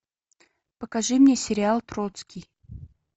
покажи мне сериал троцкий